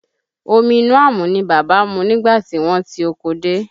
Omi inú àmù ni bàbá mu nígbà tí wọ́n ti oko dé